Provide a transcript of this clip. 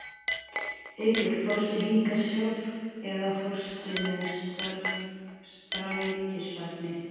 Haukur: Fórstu hingað sjálf eða fórstu með strætisvagni?